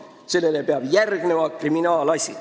Sellele peab järgnema kriminaalasi.